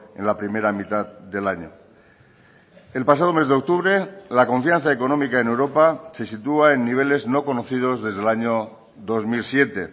en la primera mitad del año el pasado mes de octubre la confianza económica en europa se sitúa en niveles no conocidos desde el año dos mil siete e